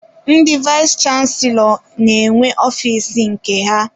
Ndị vayis chansilọ n'enwe ọfiisi nke ha.